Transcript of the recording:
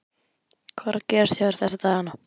Hvað er að gerast hjá þér þessa dagana?